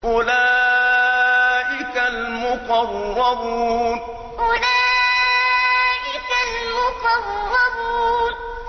أُولَٰئِكَ الْمُقَرَّبُونَ أُولَٰئِكَ الْمُقَرَّبُونَ